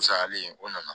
Sayalen o nana